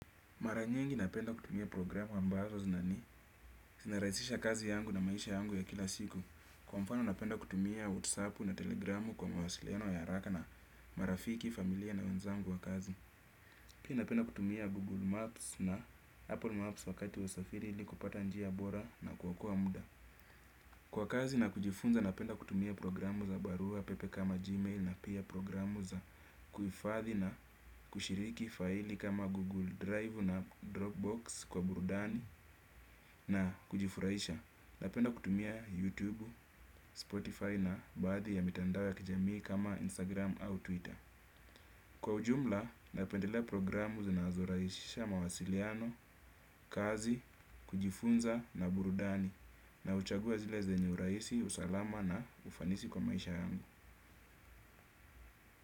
Mara nyingi napenda kutumia programu ambazo zinani. Zinarahisisha kazi yangu na maisha yangu ya kila siku. Kwa mfano napenda kutumia WhatsApp na Telegramu kwa mwasiliano ya haraka na marafiki, familia na wenzangu wa kazi. Pia napenda kutumia Google Maps na Apple Maps wakati wa usafiri ili kupata njia bora na kuokoa muda. Kwa kazi na kujifunza napenda kutumia programu za barua pepe kama Gmail na pia programu za kuhifathi na kushiriki faili kama Google Drive na Dropbox kwa burudani na kujifurahisha. Napenda kutumia YouTube, Spotify na baadhi ya mitandao ya kijamii kama Instagram au Twitter. Kwa ujumla, napendelea programu zinazorahisisha mawasiliano, kazi, kujifunza na burudani. Na huchagua zile zenyu urahisi, usalama na ufanisi kwa maisha yangu.